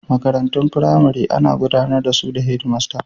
Makarantun firamare ana gudanar da su ta Head master